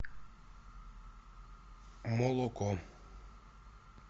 молоко